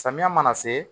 Samiya mana se